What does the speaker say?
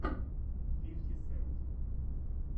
фифти сент